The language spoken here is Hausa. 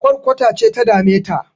Ƙwarkwata ce ta dame ta